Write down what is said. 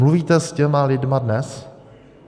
Mluvíte s těmi lidmi dnes?